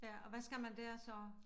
Ja og hvad skal man dér så?